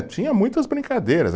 Tinha muitas brincadeiras.